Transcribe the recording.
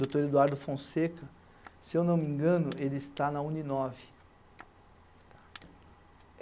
Doutor Eduardo Fonseca, se eu não me engano, ele está na Uninove.